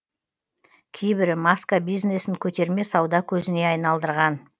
кейбірі маска бизнесін көтерме сауда көзіне айналдырған